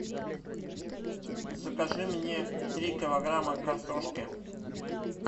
закажи мне три килограмма картошки